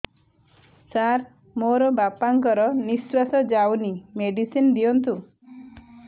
ସାର ମୋର ବାପା ଙ୍କର ନିଃଶ୍ବାସ ଯାଉନି ମେଡିସିନ ଦିଅନ୍ତୁ